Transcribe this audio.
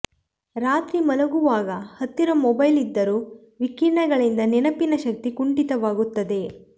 ರಾತ್ರಿ ಮಲಗುವಾಗ ಹತ್ತಿರ ಮೊಬೈಲ್ ಇದ್ದರೂ ವಿಕಿರಣಗಳಿಂದ ನೆನಪಿನ ಶಕ್ತಿ ಕುಂಠಿತವಾಗುತ್ತದೆ